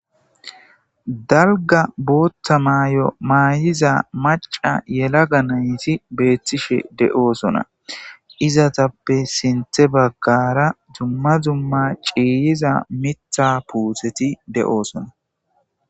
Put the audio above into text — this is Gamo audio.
dalga bootta maay7o maayiza maca yela ga nayti beethtishe de7oosona izatappe sinthe baggara dumma dzumma ciiyiza mitha puutheti de7oosona